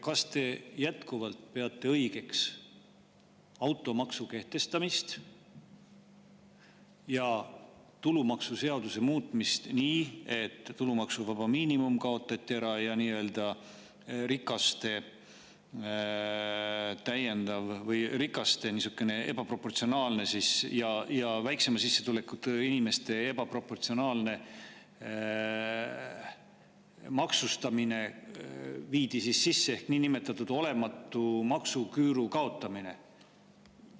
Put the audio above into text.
Kas te jätkuvalt peate õigeks automaksu kehtestamist ja tulumaksuseaduse muutmist nii, et tulumaksuvaba miinimum kaotati ära ja viidi sisse niisugune rikaste ja väiksema sissetulekuga inimeste ebaproportsionaalne maksustamine ehk niinimetatud olematu maksuküüru kaotamine?